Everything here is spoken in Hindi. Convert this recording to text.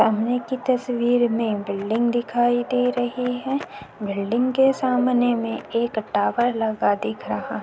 की तस्वीर में बिल्डिंग दिखाए दे रही है। बिल्डिंग के सामने में एक टावर लगा दिख रहा --